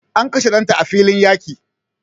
An kashe danta a filin yaƙi